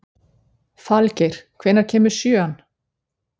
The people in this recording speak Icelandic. Falgeir, hvenær kemur sjöan?